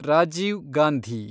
Rajiv Gandhi